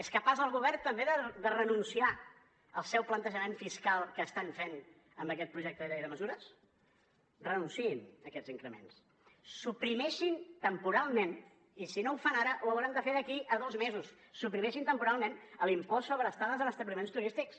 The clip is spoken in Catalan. és capaç el govern també de renunciar al seu plantejament fiscal que estan fent amb aquest projecte de llei de mesures renunciïn a aquests increments suprimeixin temporalment i si no ho fan ara ho hauran de fer d’aquí a dos mesos suprimeixin temporalment l’impost sobre estades en establiments turístics